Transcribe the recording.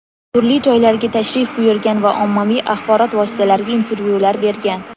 turli joylarga tashrif buyurgan va ommaviy axborot vositalariga intervyular bergan.